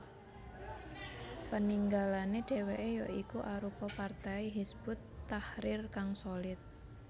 Peninggalane dheweke ya iku arupa partai Hizbut Tahrir kang solid